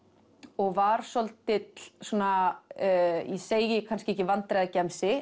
og var svolítill svona ég segi kannski ekki